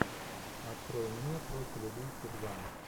открой мне профиль убийцы два